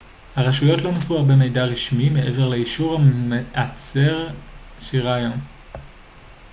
הרשויות לא מסרו הרבה מידע רשמי מעבר לאישור המעצר שאירע היום